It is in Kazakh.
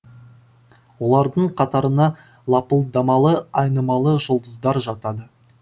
олардың қатарына лапылдамалы айнымалы жұлдыздар жатады